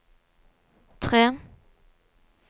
tre